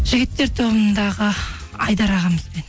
жігіттер тобындағы айдар ағамызбен